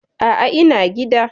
A'a, ina gida.